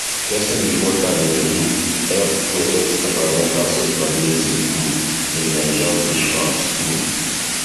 testing before time dey um help protect environmental sustainability um in nigerian fish farms um